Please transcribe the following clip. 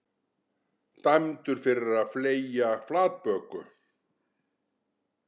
Dæmdur fyrir að fleygja flatböku